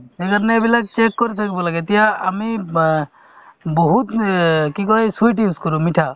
সেইকাৰণে এইবিলাক ত্যাগ কৰি থাকিব লাগে এতিয়া আমি বহুত ইয়ে কি কই sweet use কৰো মিঠা